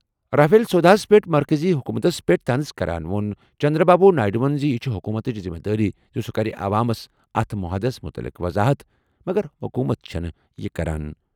Rafale سوداہَس پٮ۪ٹھ مرکزی حکومتَس پٮ۪ٹھ طنز کران ووٚن چندرا بابو نائیڈوَن زِ یہِ چھِ حکوٗمتٕچ ذمہٕ دٲری زِ سُہ کرِ عوامَس اَتھ مُہادَس مُتعلِق وَضاحَت، مگر حکوٗمت چھَنہٕ یہِ کران۔